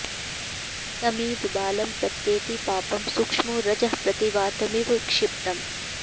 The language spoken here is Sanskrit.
तमेव बालं प्रत्येति पापं सूक्ष्मो रजः प्रतिवातमिव क्षिप्तम्